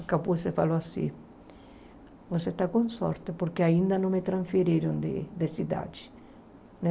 O capuz se falou assim, você está com sorte porque ainda não me transferiram de de cidade, né?